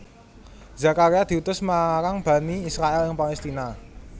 Zakaria diutus marang Bani Israil ing Palestina